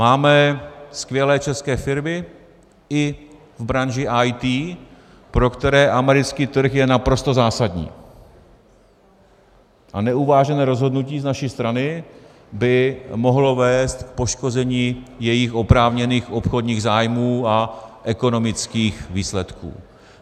Máme skvělé české firmy i v branži IT, pro které americký trh je naprosto zásadní, a neuvážené rozhodnutí z naší strany by mohlo vést k poškození jejich oprávněných obchodních zájmů a ekonomických výsledků.